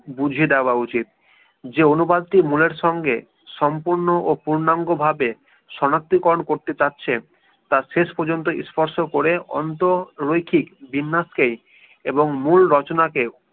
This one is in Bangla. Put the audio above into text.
বুঝে দেয়া উচিৎ যে অনুবাদটির মূলের সঙ্গে সম্পূর্ণ ও পূর্ণাঙ্গভাবে শনাক্তিকরন করতে চাচ্ছে তার শেষ পর্যন্ত স্পষ্ট করে অন্ত রইক্ষি জিমনাস্ককেই এবং মূল রচনা কে